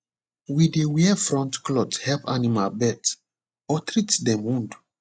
we dey wear front cloth help animal birth or treat dem wound